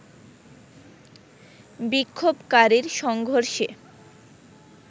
বিক্ষোভকারীর সংঘর্ষে